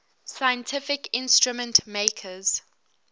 scientific instrument makers